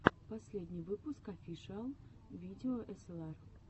последний выпуск офишиал видео эсэлар